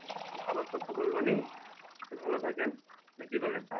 আবার কথা বলবনি তো ভালো থাকেন নাকি বলেন?